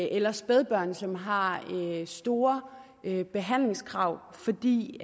eller spædbørn som har store behandlingskrav fordi